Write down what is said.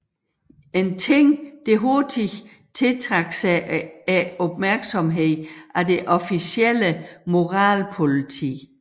En ting der hurtigt tiltrak sig opmærksom af det officielle moralpoliti